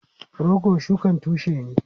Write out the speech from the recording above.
Rogo shukan tushe ne.